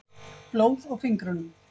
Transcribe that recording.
Blóð á fingrunum.